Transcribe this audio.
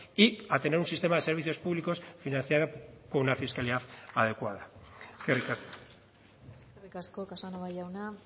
y a tener un sistema de servicios públicos financiada con una fiscalidad adecuada eskerrik asko eskerrik asko casanova jauna